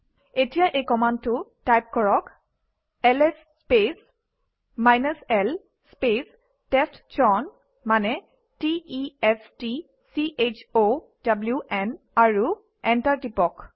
এতিয়া এই কমাণ্ডটো টাইপ কৰক LS space l space testchown মানে t e s t c h o w ন আৰু এণ্টাৰ টিপক